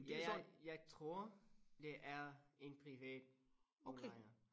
Ja jeg jeg tror det er en privat udlejer